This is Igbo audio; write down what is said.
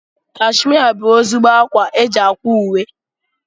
Kashmia bụ ezigbo ákwá eji ákwà uwe.